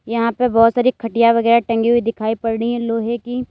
यहां पे बहुत सारी खटिया वगैरा टंगी हुई दिखाई पड़ रही हैं लोहे की।